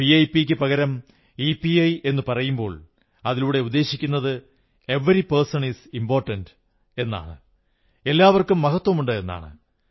വിഐപിയ്ക്കു പകരം ഇപിഐ എന്നു പറയുമ്പോൾ അതിലൂടെ ഉദ്ദേശിക്കുന്നത് എവരി പേഴ്സൺ ഈസ് ഇമ്പോർട്ടന്റ് എല്ലാവർക്കും മഹത്വമുണ്ട് എന്നാണ്